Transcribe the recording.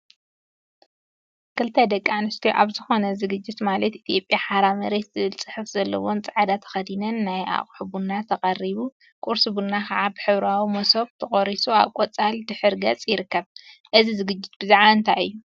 ክልተ ደቂ አንስትዮ አብ ዝኮነ ዝግጅት ማለት ኢትዮጵያ ሓራ መሬት ዝብል ፅሑፍ ዘለዎን ፃዕዳ ተከዲነን ናይ አቁሑ ቡና ተቀሪቡ፤ ቁርሲ ቡና ከዓ ብሕብራዊ መሶብ ተቆሪሱ አብ ቆፃል ድሕረ ገፅ ይርከብ፡፡ እዚ ዝግጅት ብዛዕባ እንታይ እዩ?